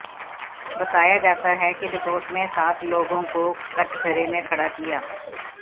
बताया जाता है कि रिपोर्ट में सात लोगों को कटघरे में खड़ा किया